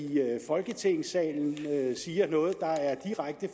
folketingssalen siger noget der er direkte